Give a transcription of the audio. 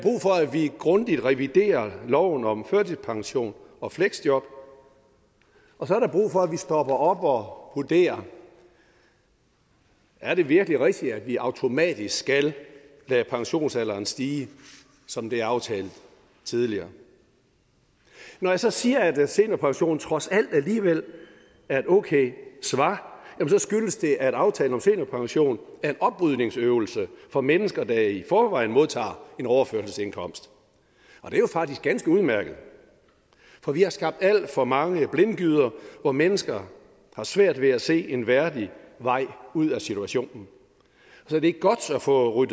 vi grundigt reviderer loven om førtidspension og fleksjob og så er der brug for at vi stopper op og vurderer er det virkelig rigtigt at vi automatisk skal lade pensionsalderen stige som det er aftalt tidligere når jeg så siger at seniorpension trods alt alligevel er et okay svar skyldes det at aftalen om seniorpension er en oprydningsøvelse for mennesker der i forvejen modtager en overførselsindkomst og det er jo faktisk ganske udmærket for vi har skabt alt for mange blindgyder hvor mennesker har svært ved at se en værdig vej ud af situationen så det er godt at få